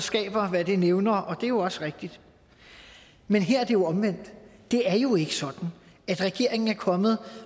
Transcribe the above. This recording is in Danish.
skaber hvad det nævner og det er jo også rigtigt men her er det omvendt det er jo ikke sådan at regeringen er kommet